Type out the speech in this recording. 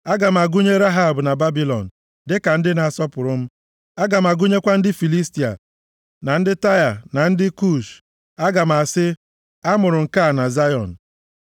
“Aga m agụnye Rehab na Babilọn, dịka ndị na-asọpụrụ m, aga m agụnyekwa ndị Filistia, na ndị Taịa, na ndị Kush, aga m asị, ‘A mụrụ nke a na Zayọn.’ ”